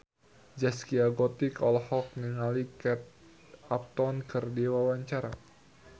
Zaskia Gotik olohok ningali Kate Upton keur diwawancara